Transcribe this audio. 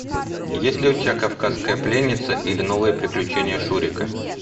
есть ли у тебя кавказская пленница или новые приключения шурика